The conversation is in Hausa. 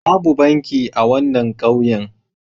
Babu banki a wannan ƙauyen.